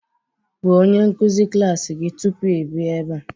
Gwa onye nkuzi klas gị tupu ị bịa ebe a